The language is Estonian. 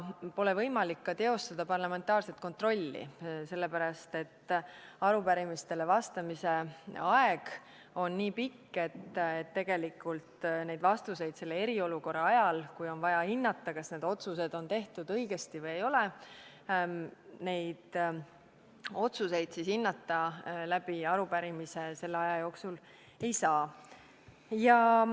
Pole võimalik ka teostada parlamentaarset kontrolli, sest arupärimistele vastamise aeg on nii pikk, et tegelikult neid vastuseid eriolukorra ajal, kui on vaja hinnata, kas otsused on tehtud õigesti või ei ole, arupärimise abil ei saa.